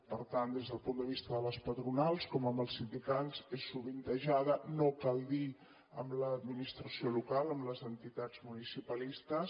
per tant des del punt de vista de les patronals com amb els sindicats és sovintejada no cal dir ho amb l’administració local amb les entitats municipalistes